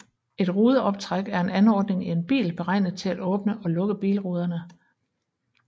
Et rudeoptræk er en anordning i en bil beregnet til at åbne og lukke bilruderne